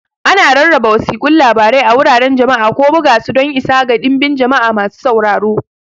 Ana rarraba wasiƙun labarai a wuraren jama'a, ko buga su don isa ga dinbin jama'a masu sauraro.